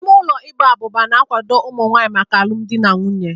Ime ụlọ Ịgba abuba na-akwado ụmụ nwanyị maka alụmdi na nwunye.